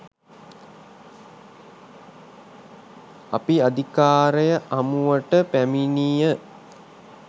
අපි අධිකාරය හමුවට පැමිණිය